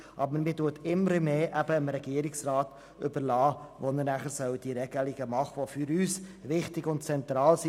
Aber man überlässt immer mehr dem Regierungsrat, nachher Regelungen zu erlassen, die für uns wichtig und zentral sind.